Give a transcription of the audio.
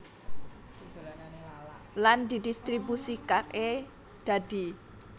Lan didistribusikaké dadi